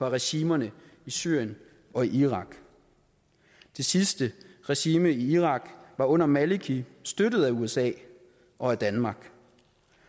af regimerne i syrien og i irak det sidste regime i irak var under maliki støttet af usa og af danmark